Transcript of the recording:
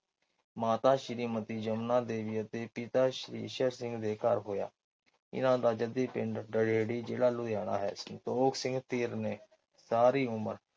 ਮਾਤਾ ਸ਼੍ਰੀਮਤੀ ਜਮਨਾ ਦੇਵੀ ਅਤੇ ਪਿਤਾ ਈਸ਼ਰ ਸਿੰਘ ਦੇ ਘਰ ਹੋਇਆ। ਇਹਨਾਂ ਦਾ ਜੱਦੀ ਪਿੰਡ ਦਰ੍ਰੇਰੀ ਜ਼ਿਲ੍ਹਾ ਲੁਧਿਆਣਾ ਹੈ। ਸੰਤੋਖ ਸਿੰਘ ਧੀਰ ਨੇ ਸਾਰੀ ਉਮਰ